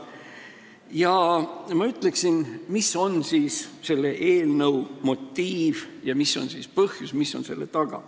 Ja ma ütleksin, mis on selle eelnõu esitamise motiiv ja mis on põhjus, mis on selle taga.